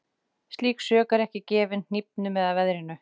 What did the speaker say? Slík sök er ekki gefin hnífnum eða veðrinu.